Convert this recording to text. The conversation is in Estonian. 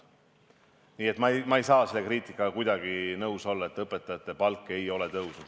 Nii et ma ei saa kuidagi nõus olla selle kriitikaga, et õpetajate palk ei ole tõusnud.